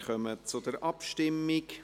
Wir kommen zur Abstimmung.